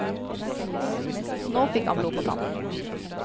Nå fik han blod på tann.